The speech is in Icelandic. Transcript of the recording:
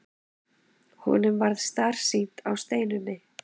Honum varð starsýnt á Steinunni.